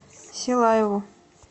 силаеву